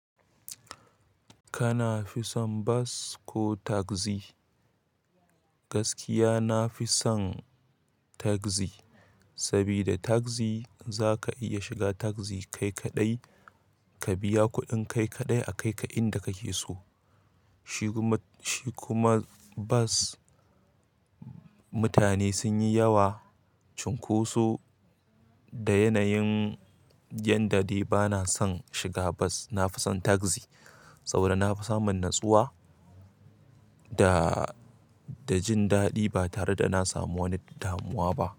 Kana fi son bas ko tagzi? Gaskiya nafi son tagzi, saboda tagzi za ka iya shiga tagzi kai kaɗai, ka biya kuɗin kai kaɗai a kai ka inda kake so. Shi kuma bas, mutane sun yi yawa cunkoso. Da yanayin yanda dai bana son shiga bus. Nafi son tagzi saboda nafi samun natsuwa da, da jin daɗi ba tare da na samu wani damuwa ba.